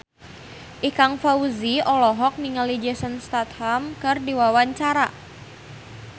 Ikang Fawzi olohok ningali Jason Statham keur diwawancara